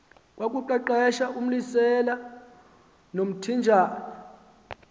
kwakuqeqeshwa umlisela nomthinjana